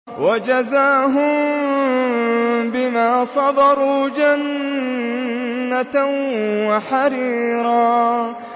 وَجَزَاهُم بِمَا صَبَرُوا جَنَّةً وَحَرِيرًا